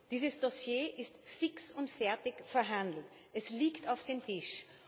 Dieses Dossier ist fix und fertig verhandelt, es liegt auf dem Tisch.